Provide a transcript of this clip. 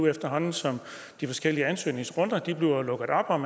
efterhånden som de forskellige ansøgningsrunder bliver lukket op